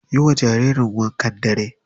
Yiwa jaririn wankan dare.